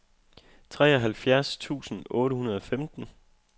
treoghalvfjerds tusind otte hundrede og femten